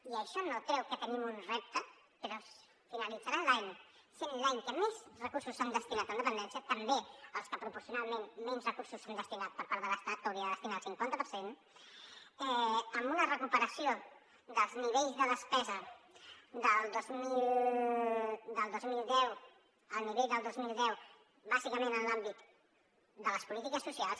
i això no treu que tenim un repte però finalitzarà l’any sent l’any que més recursos s’han destinat a dependència també que proporcionalment menys recursos s’hi han destinat per part de l’estat que hi hauria de destinar el cinquanta per cent amb una recuperació dels nivells de despesa del dos mil deu al nivell del dos mil deu bàsicament en l’àmbit de les polítiques socials